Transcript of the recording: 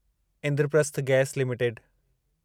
Indraprastha gas limited